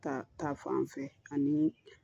Ta ta fan fɛ aniii